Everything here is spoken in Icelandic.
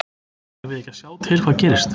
Eigum við ekki að sjá til hvað gerist?